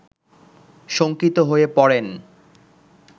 শঙ্কিত হয়ে পড়েন